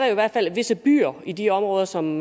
jo i hvert fald visse byer i de områder som